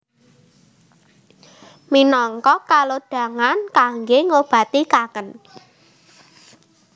Minangka kalodhangan kangge ngobati kangen